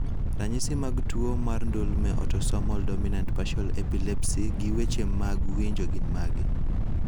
Ranyisi mag tuwo mar ndulme Autosomal dominant partial epilepsy gi weche mag winjo gin mage?